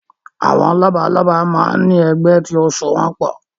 Àwọn lọ́balọ́ba máa ń ní ẹgbẹ́ tí ó so wọn pọ̀